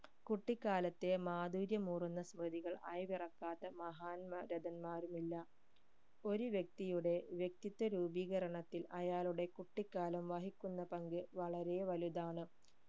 കുട്ടിക്കാലത്തെ മാധുര്യമൂറുന്ന സ്‌മൃതികൾ അയവിറക്കാത്ത മഹാന്മാ രഥന്മാരുമില്ല ഒരു വ്യക്തിയുടെ വ്യക്തിത്വ രൂപീകരണത്തിൽ അയാളുടെ കുട്ടിക്കാലം വഹിക്കുന്ന പങ്ക് വളരെ വലുതാണ്